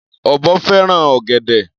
Ọ̀bọ fẹ́ràn ọ̀gẹ̀dẹ̀.